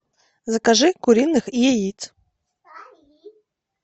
закажи куриных яиц